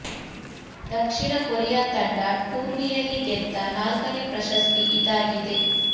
ದಕ್ಷಿಣ Korea ತಂಡ ಟೂರ್ನಿ ಯಲ್ಲಿ ಗೆದ್ದ ನಾಲ್ಕನೇ ಪ್ರಶಸ್ತಿ ಇದಾಗಿದೆ